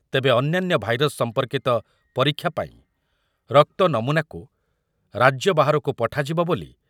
ତେବେ ଅନ୍ୟାନ୍ୟ ଭାଇରସ୍ ସମ୍ପର୍କିତ ପରୀକ୍ଷା ପାଇଁ ରକ୍ତ ନମୁନାକୁ ରାଜ୍ୟ ବାହାରକୁ ପଠାଯିବ ବୋଲି